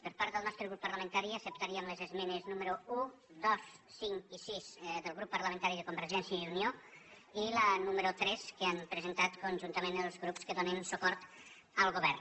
per part del nostre grup parlamentari acceptaríem les esmenes números un dos cinc i sis del grup parlamentari de convergència i unió i la número tres que han presentat conjuntament els grups que donen suport al govern